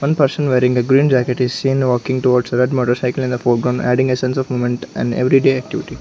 one person wearing a green jacket is seen walking towards red motorcycle in a foreground adding essence of moment and everyday activity.